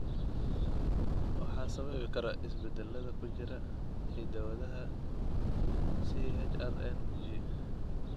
Waxaa sababi kara isbeddellada ku jira hidda-wadaha CHRNG.